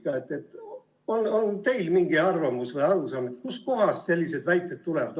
Võib-olla on teil mingi arvamus või arusaam, kustkohast sellised väited tulevad.